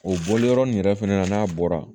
O bɔli yɔrɔ nin yɛrɛ fɛnɛ na n'a bɔra